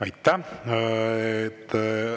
Aitäh!